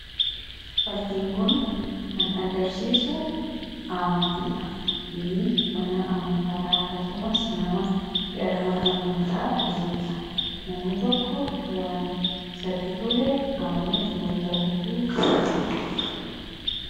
fakkiin kun kan agarsiisu amantiidha mana amantaadha akkasumas nama gara mana amantaa deemudhan namni tokko waan isatti tolee amanuuf mirga guutuu qaba.